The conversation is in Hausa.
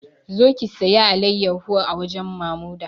Zo ki sayi alayyaho a wajen Mamuda!